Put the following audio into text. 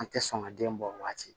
An tɛ sɔn ka den bɔ waati